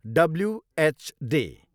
WH day.